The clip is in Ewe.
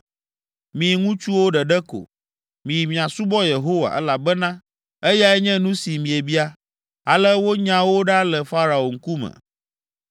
Mi ŋutsuwo ɖeɖe ko, miyi miasubɔ Yehowa, elabena eyae nye nu si miebia.” Ale wonya wo ɖa le Farao ŋkume.